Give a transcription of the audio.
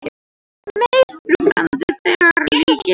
Meira þrúgandi þegar lygnir